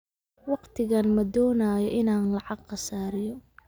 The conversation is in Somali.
Waqtigaan ma doonayo inaan lacag khasaariyo